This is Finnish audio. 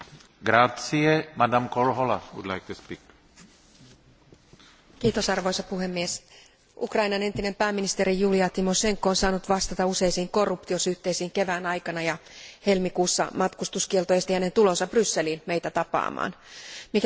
Arvoisa puhemies, Ukrainan entinen pääministeri Julia Tymošenko on saanut vastata useisiin korruptiosyytteisiin kevään aikana, ja helmikuussa matkustuskielto esti hänen tulonsa Brysseliin meitä tapaamaan. Mikäli Tymošenko tuomitaan lopullisesti syylliseksi, häntä uhkaa jopa kymmenen vuoden vankeustuomio.